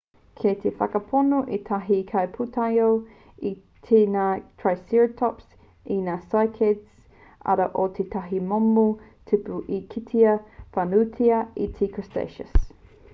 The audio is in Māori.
kei te whakapono ētahi kaipūtaiao i kai ngā triceratops i ngā cycads arā ko tētahi momo tipu i kitea whānuitia i te wā cretaceous